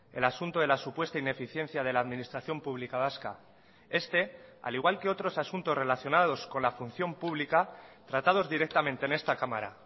el asunto de la supuesta ineficiencia de la administración publica vasca este al igual que otros asuntos relacionados con la función pública tratados directamente en esta cámara